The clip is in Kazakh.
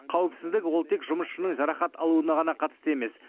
қауіпсіздік ол тек жұмысшының жарақат алуына ғана қатысты емес